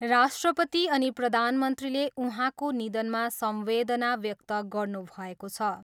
राष्ट्रपति अनि प्रधानमन्त्रीले उहाँको निधनमा संवेदना व्यक्त गर्नुभएको छ।